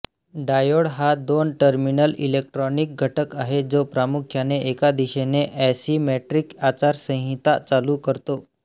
diode हा दोन terminal electronic घटक आहे जो प्रामुख्याने एका दिशेने असीमेट्रिक आचारसंहिता चालू करतो